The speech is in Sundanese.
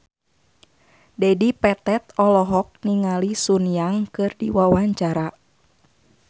Dedi Petet olohok ningali Sun Yang keur diwawancara